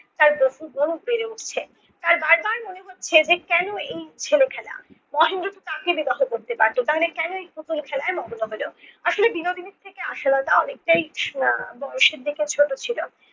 তার বহুগুণ বেড়ে উঠছে, তার বারবার মনে হচ্ছে যে কেন এই ছেলেখেলা? মহেন্দ্র তো তাকে বিবাহ করতে পারত তাহলে কেন এই পুতুল খেলায় মগ্ন হলো? আসলে বিনোদিনীর থেকে আশালতা অনেকটাই আহ বয়সের দিকে ছোট ছিল।